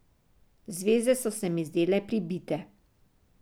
Zvezde so se mi zdele pribite.